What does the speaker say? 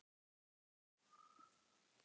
Lillý: Hvað verður svo um þessa skrúfu?